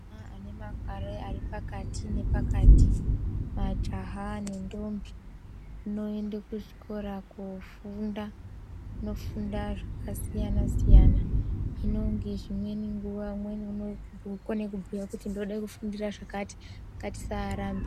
Aya vane makore ari pakati nepakati majaha nendombi moende kuzvikora kofunda mofunda zvakasiyana siyana hino ngezvimweni nguwa umweni unokone kubhuya kuti ndode kufundira zvakati ngatisarambe.